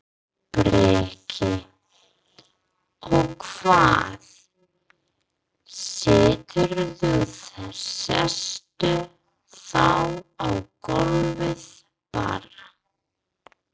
Breki: Og hvað, siturðu, sestu þá á gólfið bara?